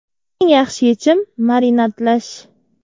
Eng yaxshi yechim marinadlash.